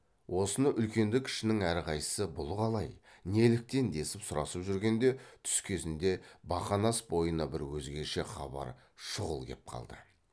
осыны үлкенді кішінің әрқайсысы бұл қалай неліктен десіп сұрасып жүргенде түс кезінде бақанас бойына бір өзгеше хабар шұғыл кеп қалды